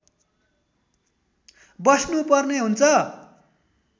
बस्नु पर्ने हुन्छ